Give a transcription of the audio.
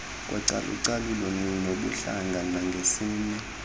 kocalucalulo ngobuhlanga nangesini